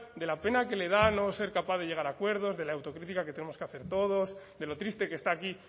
de la pena que le da no ser capaz de llegar a acuerdos de la autocrítica que tenemos que hacer todos de lo triste que está aquí